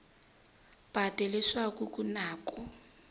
patu leswaku ku na ku